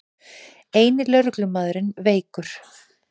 Eini lögreglumaðurinn veikur